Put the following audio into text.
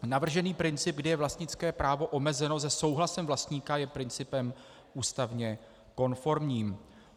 Navržený princip, kdy je vlastnické právo omezeno se souhlasem vlastníka, je principem ústavně konformním.